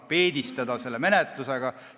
– peedistada selle menetlusega.